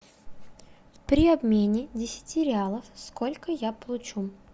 при обмене десяти реалов сколько я получу